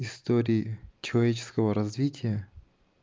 истории человеческого развития